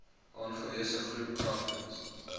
aangewese groep kragtens